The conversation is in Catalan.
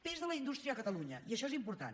pes de la indústria a catalunya i això és important